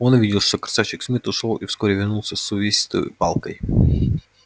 он увидел что красавчик смит ушёл и вскоре вернулся с увесистой палкой